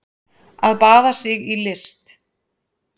Að baða sig í list